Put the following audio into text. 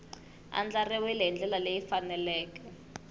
andlariwile hi ndlela leyi faneleke